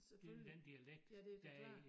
Selvfølgelig ja det da klart